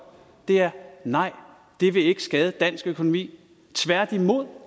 er nej det vil ikke skade dansk økonomi tværtimod